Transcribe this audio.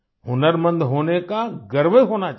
हुनरमंद होने का गर्व होना चाहिए